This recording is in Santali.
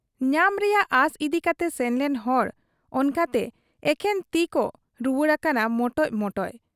ᱧᱟᱢ ᱨᱮᱭᱟᱜ ᱟᱸᱥ ᱤᱫᱤ ᱠᱟᱛᱮ ᱥᱮᱱᱞᱮᱱ ᱦᱚᱲ ᱚᱱᱠᱟᱛᱮ ᱮᱠᱷᱮᱱ ᱛᱤᱠᱚ ᱨᱩᱣᱟᱹᱲ ᱟᱠᱟᱱᱟ ᱢᱚᱴᱚᱡ ᱢᱚᱴᱚᱡ ᱾